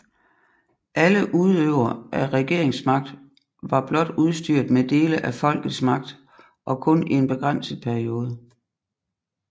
Alle udøvere af regeringsmagt var blot udstyret med dele af folkets magt og kun i en begrænset periode